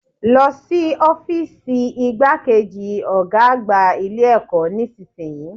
Lọ sí ọ́fììsì igbákejì Ọ̀gá àgbà Ilé ẹ̀kọ́ nísìnyí